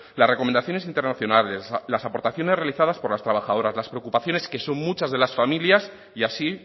las recomendaciones internacionales las aportaciones realizadas por las trabajadoras las preocupaciones que son muchas de las familias y así